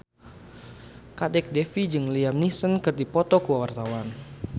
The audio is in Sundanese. Kadek Devi jeung Liam Neeson keur dipoto ku wartawan